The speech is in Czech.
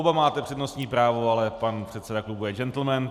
Oba máte přednostní právo, ale pan předseda klubu je džentlmen.